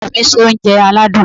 Ọkọ mi se oúnjẹ aládùn.